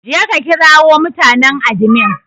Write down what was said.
Je ka ƙirawo mutanen adimin!